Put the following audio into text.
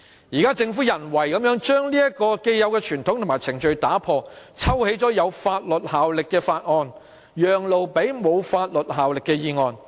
現在，政府人為地擾亂這個既有傳統和程序，抽起有法律效力的法案，以讓路給沒法律效力的議案。